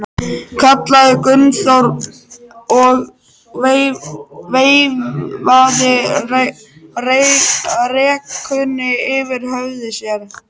kallaði Gunnþór og veifaði rekunni yfir höfði sér.